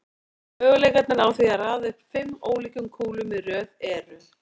Möguleikarnir á því að raða upp fimm ólíkum kúlum í röð eru